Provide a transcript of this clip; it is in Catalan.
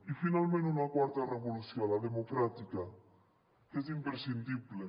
i finalment una quarta revolució la democràtica que és imprescindible